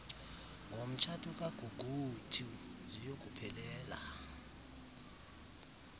ngomtshato kaguguiethu ziyokuphelela